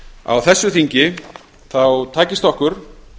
á þessu þingi takist okkur